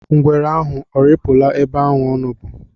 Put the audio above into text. Ngwere ahụ arịpụla ebe ọ nọbu?